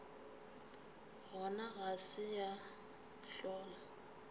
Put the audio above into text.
gona ga se ya hlola